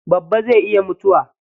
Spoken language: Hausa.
Babba zai iya mutuwa.